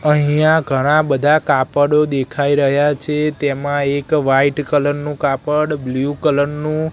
અહીંયા ઘણા બધા કાપડો દેખાય રહ્યા છે તેમા એક વ્હાઇટ કલર નું કાપડ બ્લુ કલર નું--